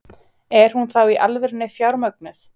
Er hún þá í alvörunni fjármögnuð?